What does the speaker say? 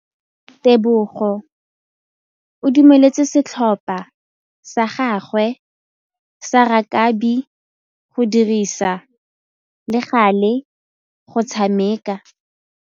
Tebogô o dumeletse setlhopha sa gagwe sa rakabi go dirisa le galê go tshameka.